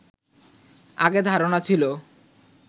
আগে ধারণা ছিল